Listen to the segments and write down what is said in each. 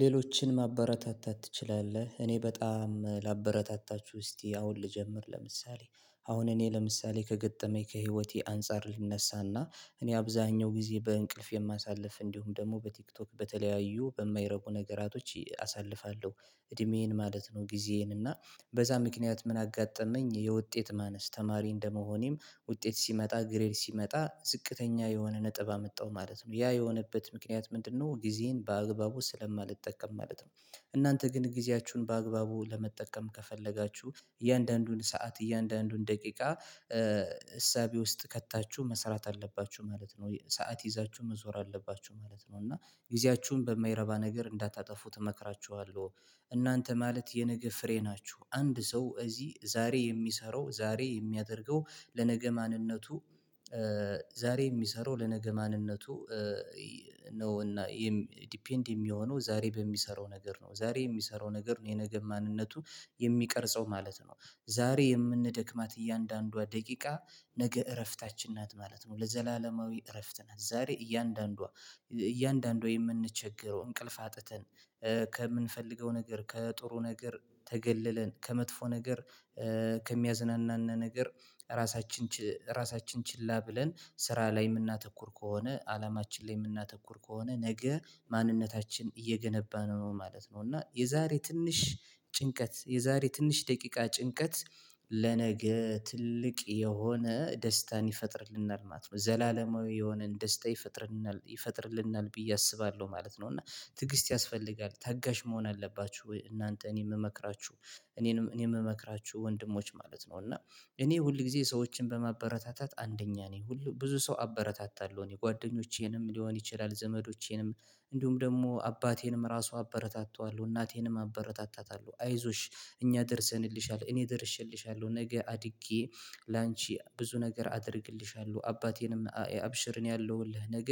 ሌሎችን ማበረታታት ትችላለህ? እኔ በጣም ላበረታታችሁ እስቲ አሁን ልጀምር ለምሳሌ አሁን እኔ ለምሳሌ ከገጠመኝ ከህይወቴ አንፃር ልነሳና እኔ አብዛኛው ጊዜ በእንቅልፍ የማሳልፍ እንዲሁም ደግሞ በቲክቶክ በተለያዩ በማይረቁ ነገራቶች አሳልፋለሁ እድሜዬን ማለት ነው። ጊዜዬን እና በዛ ምክንያት ምን አጋጠመኝ የውጤት ማነስ ተማሪ እንደመሆኔም ውጤት ሲመጣ ግሬድ ሲመጣ ዝቅተኛ የሆነ ነጥብ አመጣው ማለት ነው ያ የሆነበት ምክንያት ምንድነው ጊዜን በአግባቡ ስለማልጠቀም ማለት ነው። እናንተ ግን ጊዜያችሁን በአግባቡ ለመጠቀም ከፈለጋችሁ እያንዳንዱን ሰዓት እያንዳንዱን ደቂቃ እሳቤ ውስጥ ከታችሁ መስራት አለባችሁ ማለት ነው ሰዓት ይዛችሁ መዞር አለባችሁ ማለት ነው እና ጊዜያችሁን በማይረባ ነገር እንዳታጠፉት እመክራችኋለሁ። እናንተ ማለት የነገ ፍሬ ናችሁ አንድ ሰው ዛሬ የሚሰራው ዛሬ የሚያደርገው ለነገ ማንነቱ ዛሬ የሚሰራው ለነገ ማንነቱ ነው። እና ይሄም ዲፔንድ የሚሆነው ዛሬ በሚሰራው ነገር ነው ዛሬ የሚሰራው ነገር ነው የነገ ማንነቱ የሚቀርጸው ማለት ነው። ዛሬ የምንደክማት እያንዳንዷ ደቂቃ ነገ እረፍታችን ናት ማለት ነው። ለዘላለማዊ እረፍት ናት ዛሬ እያንዳንዷ እያንዳንዷ የምንቸገረው እንቅልፍ አጥተን ከምንፈልገው ነገር ከጥሩ ነገር ተገለለን ከመጥፎ ነገር ከሚያዝናናን ነገር ራሳችን ችላ ብለን ስራ ላይ የምናተኩር ከሆነ አላማችን ላይ የምናተኩር ከሆነ ነገ ማንነታችን እየገነባን ነው ማለት ነው። እና የዛሬ ትንሽ ጭንቀት የዛሬ ትንሽ ደቂቃ ጭንቀት ለነገ ትልቅ የሆነ ደስታን ይፈጥርልናል ማለት ነው ዘላለማዊ የሆነን ደስታ ይፈጥርልናል ብየ አስባለሁ ማለት ነው። እና ትግስት ያስፈልጋል ታጋሽ መሆን አለባችሁ እናንተ እኔ የምመክራችሁ እኔ የምመክራችሁ ወንድሞች ማለት ነው። እና እኔ ሁል ጊዜ ሰዎችን በማበረታታት አንደኛ ነኝ ሁሉ ብዙ ሰው አበረታታለሁ እኔ ጓደኞቼንም ሊሆን ይችላል ዘመዶቼንም እንዲሁም ደግሞ አባቴንም ራሱ አበረታታዋለሁ እናቴንም አበረታታታለሁ አይዞሽ እኛ ደርሰንልሻል እኔ ደርሼልሻለሁ ነገ አድጌ ላንቺ ብዙ ነገር አድርግልሻለሁ አባቴንም አብሽር እኔ አለውልህ ነገ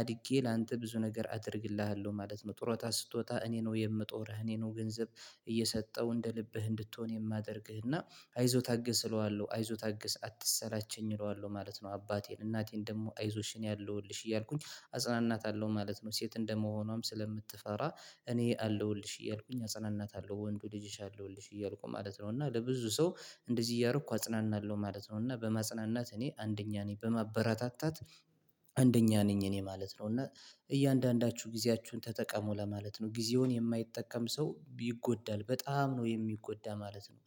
አድጌ ላንተ ብዙ ነገር አደርግልሃለሁ ማለት ነው። ጥሮታ ስትወጣ እኔ ነው የምጦርህ እኔ ነው ገንዘብ እየሰጠው እንደ ልብህ እንድትሆን የማደርግህ እና አይዞህ ታግስ እለዋለሁ አይዞህ ታግስ አትሰላች እለዋለሁ ማለት ነው። አባቴን እናቴን ደግሞ አይዞሽ እኔ አለውልሽ እያልኩኝ አጽናናታለሁ ማለት ነው ሴት እንደመሆኗም ስለምትፈራ እኔ አለውልሽ እያልኩኝ አጽናናታለሁ ወንዱ ልጅሽ አለውልሽ እያልኩ ማለት ነው። እና ለብዙ ሰው እንደዚህ እያደረኩ አጽናናለሁ ማለት ነው እና በማጽናናት እኔ አንደኛ ነኝ በማበረታታት አንደኛ ነኝ እኔ ማለት ነው። እና እያንዳንዳችሁ ጊዜያችሁን ተጠቀሙ ለማለት ነው ጊዜውን የማይጠቀም ሰው ይጎዳል በጣም ነው የሚጎዳ ማለት ነው።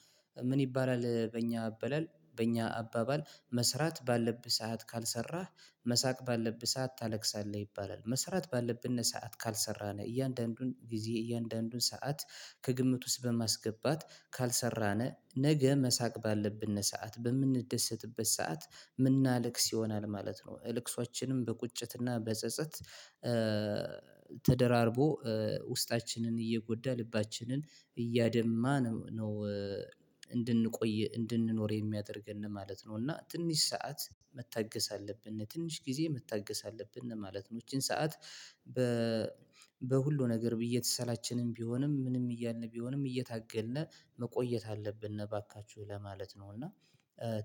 ምን ይባላል በእኛ አባባል በእኛ አባባል መስራት ባለብህ ሰዓት ካልሰራህ መሳቅ ባለብህ ሰዓት ታለቅሳለህ ይባላል መስራት ባለብህና ሰዓት ካልሰራህ እያንዳንዱን ጊዜ እያንዳንዱን ሰዓት ከግምት ውስጥ በማስገባት ካልሰራነ ነገ መሳቅ ባለብን ሰዓት በምንደሰትበት ሰዓት የምናለቅስ ይሆናል ማለት ነው። እልቅሶቻችንም በቁጭትና በጸጸት ተደራርቦ ውስጣችንን እየጎዳ ልባችንን እያደማ ነው እንድንቆይ እንድንኖር የሚያደርገን ነው ማለት ነው እና ትንሽ ሰዓት መታገስ አለብን ትንሽ ጊዜ መታገስ አለብን ማለት ነው። ይቺን ሰዓት በ በሁሉ ነገር እየተሰላችንም ቢሆንም ምንም እያልን ቢሆንም እየታገልን መቆየት አለብን እባካቹህ ለማለት ነው እና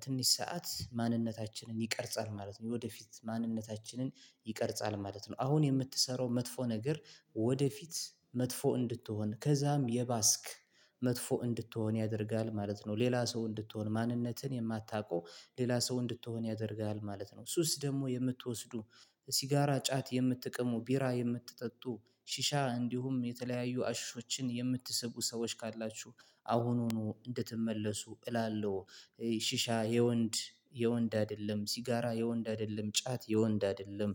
ትንሽ ሰዓት ማንነታችንን ይቀርጻል ማለት ነው። የወደፊት ማንነታችንን ይቀርጻል ማለት ነው። አሁን የምትሰራው መጥፎ ነገር ወደፊት መጥፎ እንድትሆን ከዛም የባስክ መጥፎ እንድትሆን ያደርጋል ማለት ነው። ሌላ ሰው እንድትሆን ማንነትን የማታውቀው ሌላ ሰው እንድትሆን ያደርጋል ማለት ነው። ሱስ ደግሞ የምትወስዱ ሲጋራ ጫት የምትቅሙ ቢራ የምትጠጡ ሺሻ እንዲሁም የተለያዩ አሽሾችን የምትሰቡ ሰዎች ካላችሁ አሁኑኑ እንድትመለሱ እላለሁ። ሺሻ የወንድ የወንድ አይደለም ሲጋራ የወንድ አይደለም ጫት የወንድ አይደለም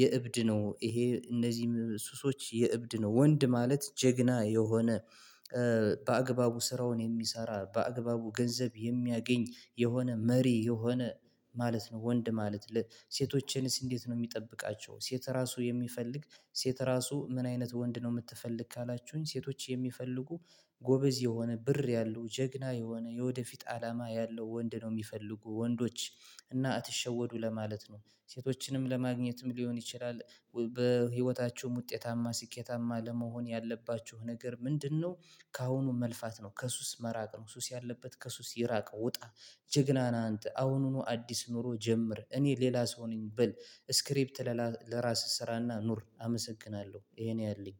የእብድ ነው ይሄ እነዚህም ሱሶች የእብድ ነው ወንድ ማለት ጀግና የሆነ በአግባቡ ስራውን የሚሰራ በአግባቡ ገንዘብ የሚያገኝ የሆነ መሪ የሆነ ማለት ነው። ወንድ ማለት ለ ለሴቶቼንስ እንዴት ነው የሚጠብቃቸው ሴት ራሱ የሚፈልግ ሴት ራሱ ምን አይነት ወንድ ነው የምትፈልግ ካላችሁኝ ሴቶች የሚፈልጉ ጎበዝ የሆነ ብር ያለው ጀግና የሆነ የወደፊት አላማ ያለው ወንድ ነው የሚፈልጉ ወንዶች እና አትሸወዱ ለማለት ነው። ሴቶችንም ለማግኘትም ሊሆን ይችላል በህይወታችሁም ውጤታማ ስኬታማ ለመሆን ያለባችሁ ነገር ምንድነው? ከአሁኑ መልፋት ነው ከሱስ መራቅ ነው ሱስ ያለበት ከሱስ ይራቅ ውጣ። ጀግና ነህ አንተ አሁኑኑ አዲስ ኑሮ ጀምር እኔ ሌላ ሰው ነኝ በል። ስክሪፕት ለራስህ ስራና ኑር አመሰግናለሁ ይሄ ነው ያለኝ።